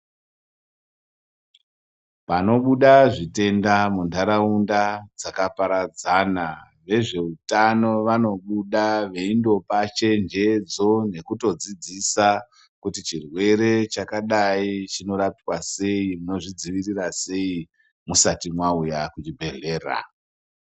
Panobuda zvitenda muntharaunda dzakaparadzana, vezve utano vanobuda veindopa chenjedzo nekoodzidzisa kuti chirwere chakadai chinorapwa sei, uye chinodziirirwa sei? Musati mauya kuchibhedhlera.